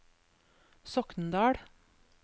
Soknedal